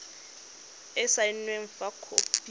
e e saenweng fa khopi